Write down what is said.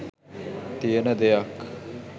තියෙන දෙයක්.